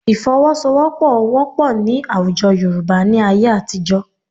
Ìfọwọ́sowọ́pọ̀ wọ́pọ̀ ní àwùjọ Yorùbá ní ayé àtijọ́